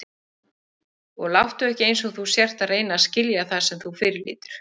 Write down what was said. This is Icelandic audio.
Og láttu ekki einsog þú sért að reyna að skilja það sem þú fyrirlítur.